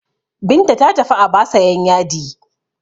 Binta ta tafi Aba sayan yadi.